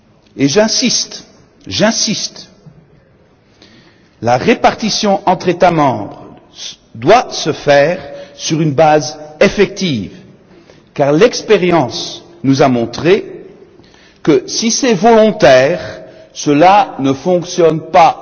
Et j'insiste, la répartition entre États membres doit se faire sur une base effective, car l'expérience nous a montré que si c'est volontaire, cela ne fonctionne pas.